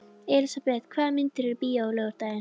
Elisabeth, hvaða myndir eru í bíó á laugardaginn?